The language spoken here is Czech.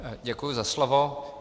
Děkuji za slovo.